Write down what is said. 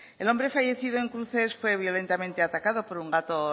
el hombre fallecido en cruces fue violentamente atacado por un gato